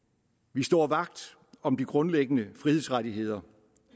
vi står vagt om de grundlæggende frihedsrettigheder